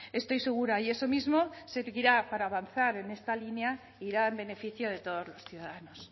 estoy segura y eso mismo servirá para avanzar en esta línea irá en beneficio de todos los ciudadanos